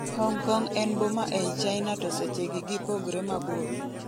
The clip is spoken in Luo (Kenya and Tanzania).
Hong Kong en boma ei China to seche gi gipogre mabor